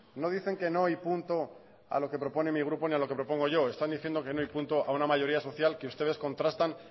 no dicen que no y punto a lo que propone mi grupo ni a lo que propongo yo están diciendo que no y punto a una mayoría social que ustedes contrastan